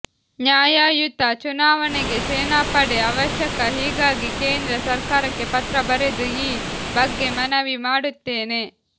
ನ್ಯಾಯಯುತ ಚುನಾವಣೆಗೆ ಸೇನಾಪಡೆ ಅವಶ್ಯಕ ಹೀಗಾಗಿ ಕೇಂದ್ರ ಸರ್ಕಾರಕ್ಕೆ ಪತ್ರ ಬರೆದು ಈ ಬಗ್ಗೆ ಮನವಿ ಮಾಡುತ್ತೇನೆ